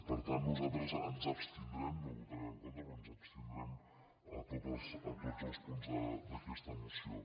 per tant nosaltres ens abstindrem no hi votarem en contra però ens abstindrem en tots els punts d’aquesta moció